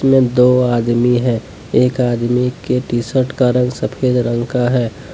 यह दो आदमी है एक आदमी के टी_शर्ट का रंग सफेद रंग का है।